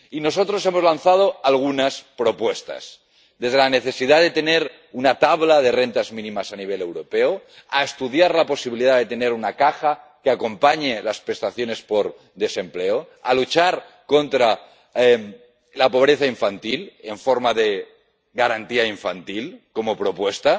Y nosotros hemos lanzado algunas propuestas desde la necesidad de tener una tabla de rentas mínimas a nivel europeo hasta estudiar la posibilidad de tener una caja que acompañe las prestaciones por desempleo, pasando por luchar contra la pobreza infantil con un sistema de garantía infantil como propuesta